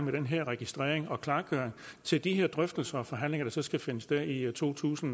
med den her registrering og klargøring til de drøftelser og forhandlinger der så skal finde sted i to tusind